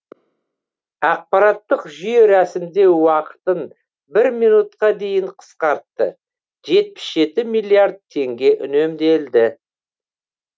ақпараттық жүйе рәсімдеу уақытын бір минутқа дейін қысқартты жетпіс жеті миллиард теңге үнемделді